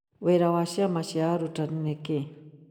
Wĩra wa ciama cia arutani nĩ kĩĩ?